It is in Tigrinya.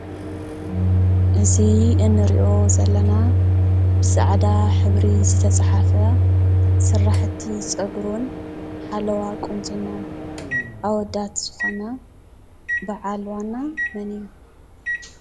እዚ እንሪኦ ዘለና ብፃዕዳ ሕብሪ ዝተፃሓፈ ስራሕቲ ፀጉሪ እውን ሓለዋ ቁንጅና ኣወዳት ዝኮነ በዓል ዋና መን እዩ?